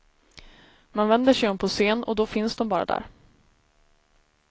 Man vänder sig om på scen, och då finns dom bara där.